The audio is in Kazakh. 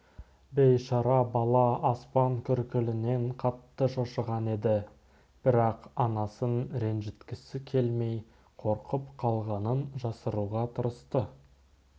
бейшара бала аспан күркілінен қатты шошыған еді бірақ анасын ренжіткісі келмей қорқып қалғанын жасыруға тырысты